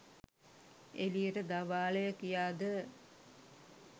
එළියට දවාලය කියාද